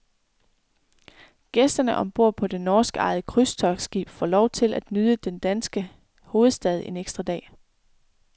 Gæsterne om bord på det norskejede krydstogtsskib får lov at nyde den danske hovedstad en ekstra dag.